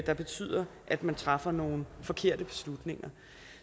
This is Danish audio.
der betyder at man træffer nogle forkerte beslutninger